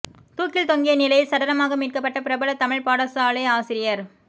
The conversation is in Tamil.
தூக்கில் தொங்கிய நிலையில் சடலமாக மீட்க்கப்பட்ட பிரபல தமிழ்ப் பாடசாலை ஆசிரியர்